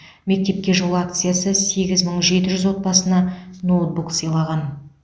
мектепке жол акциясы сегіз мың жеті жүз отбасына ноутбук сыйлаған